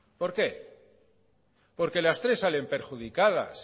por qué porque las tres salen perjudicadas